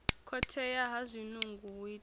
khothea ha zwinungo hu itea